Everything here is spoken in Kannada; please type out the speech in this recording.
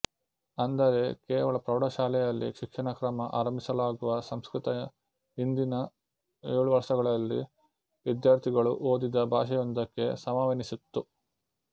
ಅಂದರೆ ಕೇವಲ ಪ್ರೌಢಶಾಲೆಯಲ್ಲಿ ಶಿಕ್ಷಣ ಕ್ರಮ ಆರಂಭಿಸಲಾಗುವ ಸಂಸ್ಕೃತ ಹಿಂದಿನ ಏಳು ವರ್ಷಗಳಲ್ಲಿ ವಿದ್ಯಾರ್ಥಿಗಳು ಓದಿದ ಭಾಷೆಯೊಂದಕ್ಕೆ ಸಮವೆನಿಸಿತ್ತು